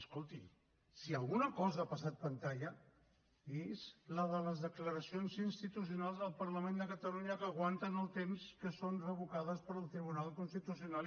escolti si alguna cosa ha passat pantalla és la de les declaracions institucionals del parlament de catalunya que aguanten el temps que són revocades pel tribunal constitucional